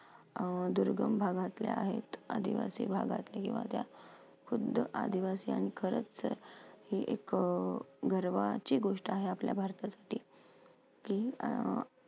या दुर्गम भागातले आहेत. आदिवासी भागातले किंवा त्या खुद्द आदिवासी आणि खरंच हे एक अ गर्वाची गोष्ट आहे आपल्या भारतासाठी की अं